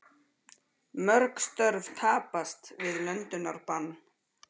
Mörg störf tapast við löndunarbann